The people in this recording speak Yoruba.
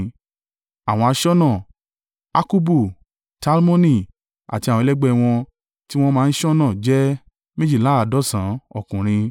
Àwọn aṣọ́nà: Akkubu, Talmoni, àti àwọn ẹlẹgbẹ́ ẹ wọn, tí wọ́n máa ń ṣọ́nà jẹ́ méjìléláàádọ́sàn-án (172) ọkùnrin.